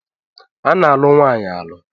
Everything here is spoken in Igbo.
A na-alụ nwaanyị alụ.